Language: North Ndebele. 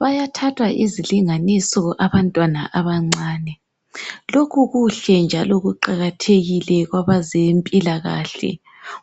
Bayathathwa izilinganiso abantwana abancane. Lokhu kuhle njalo kuqakathekile kwabazempilakahle,